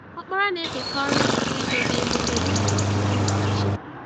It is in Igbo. Ọkpara na-eketa ọrụ nke idobe emume nkume ndị nna ochie.